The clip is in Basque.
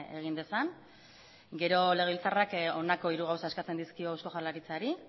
egin dezan gero legebiltzarrak honako hiru gauza eskatzen dizkio eusko jaurlaritzari